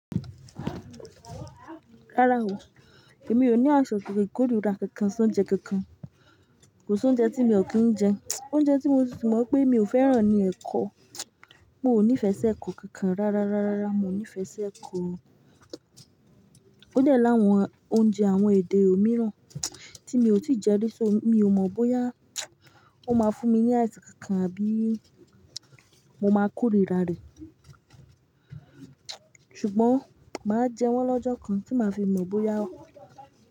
Rárá o, èmi ò ní àìsàn ikorira kankan, sòún jẹ kankan. Kò sí oúnjẹ tí mi ò kí ń jẹ, oúnjẹ tí mo mọ̀ pé mi ò fẹ́ràn ni ẹ̀kọ. Mo ò níìfẹ̀ sí ẹ̀kọ kankan rárá, rárá, mo níìfẹ̀ sí ẹ̀kọ. Ó dẹ́ láwọn oúnjẹ àwọn èdè òmíràn tí mi ò tíì jẹ rí, so mi ò mọ̀ bóyá ó máa fún mi ní àìsàn kankan àbí mo máa korira rẹ̀. Ṣùgbọ́n má jẹ wọ́n lọ́jọ́ kan tí ma fi mọ̀ bóyá ó.